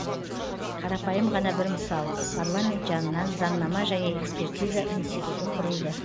қарапайым ғана бір мысал парламент жанынан заңнама және экспертиза институты құрылды